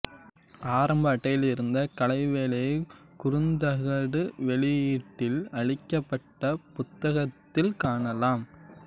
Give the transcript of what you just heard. ஆரம்ப அட்டையில் இருந்த கலைவேலையை குறுந்தகடு வெளியீட்டில் அளிக்கப்பட்ட புத்தகத்தில் காணலாம்